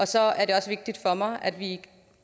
så er det også vigtigt for mig at vi